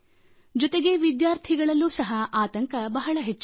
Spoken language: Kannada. ಜೊತೆಗೆ ವಿದ್ಯಾರ್ಥಿಗಳಲ್ಲೂ ಸಹ ಆತಂಕ ಬಹಳ ಹೆಚ್ಚಾಗಿದೆ